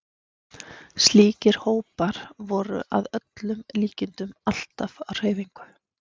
Slíkir hópar voru að öllum líkindum alltaf á hreyfingu.